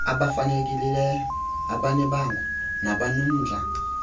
abafanelekileyo abanebango nabanomdla